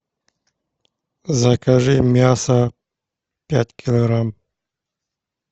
закажи мясо пять килограмм